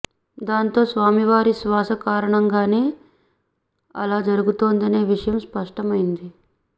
దాంతో స్వామి వారి శ్వాస కారణంగానే అలా జరుగుతుందనే విషయం స్పష్టమైంది